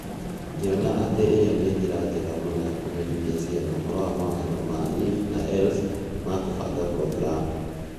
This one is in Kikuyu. Ngĩona atĩ ĩyo nĩ njĩra njega mũno ya kũmenyithia ciana ũhoro wa mawatho ma If na Else ma kũbanga programu.